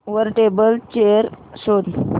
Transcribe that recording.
वर table chair शोध